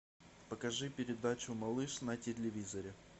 покажи передачу малыш на телевизоре